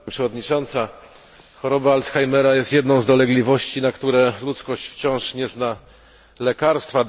Pani Przewodnicząca! Choroba Alzheimera jest jedną z dolegliwości, na które ludzkość wciąż nie zna lekarstwa.